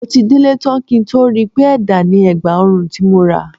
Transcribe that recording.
Mo ti délé tán kí n tó rí i pé ẹ̀dà ni ẹ̀gbà ọrùn tí mo rà